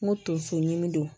N ko tonso ɲini